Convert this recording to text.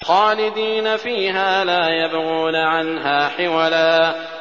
خَالِدِينَ فِيهَا لَا يَبْغُونَ عَنْهَا حِوَلًا